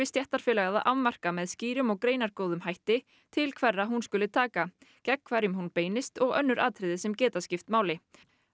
stéttarfélag að að afmarka með skýrum og greinargóðum hætti til hverra hún skuli taka gegn hverjum hún beinist og önnur atriði sem geta skipt máli